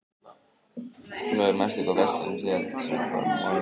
Glóey, manstu hvað verslunin hét sem við fórum í á mánudaginn?